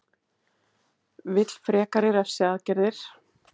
Vill frekari refsiaðgerðir